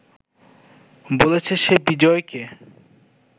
বলেছে সে বিজয়কে